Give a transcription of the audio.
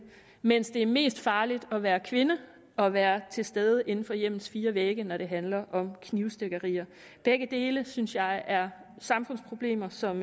mens det er mest farligt at være kvinde og være til stede inden for hjemmets fire vægge når det handler om knivstikkerier begge dele synes jeg er samfundsproblemer som